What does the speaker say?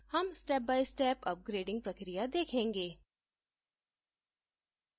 हम step by step upgrading प्रक्रिया देखेंगे